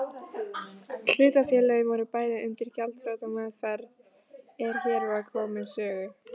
Hlutafélögin voru bæði undir gjaldþrotameðferð er hér var komið sögu.